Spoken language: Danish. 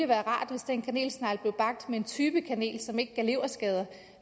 være rart hvis den kanelsnegl blev bagt med en type kanel som ikke gav leverskader